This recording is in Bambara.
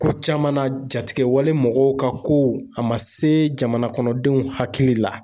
Ko caman na jatigiwale mɔgɔw ka kow a ma se jamanakɔnɔdenw hakili la